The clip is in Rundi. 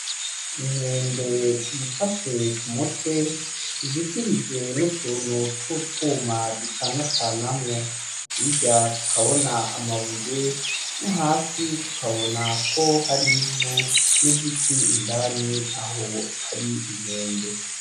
Inkende yifashe ku mutwe izitirijwe n'utuntu twu utuma ducanacanamwo. Hirya tukabona amabuye no hasi tukabona ko hari ivu n'igiti indani aho hari inkende.